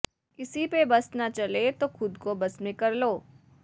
ਕਿਸੀ ਪੇ ਬਸ ਨਾ ਚਲੇ ਤੋ ਖ਼ੁਦ ਕੋ ਬਸ ਮੇਂ ਕਰ ਲੋ